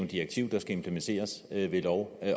direktiv der skal implementeres ved lov